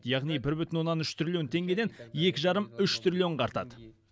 яғни бір бүтін оннан үш триллион теңгеден екі жарым үш триллионға артады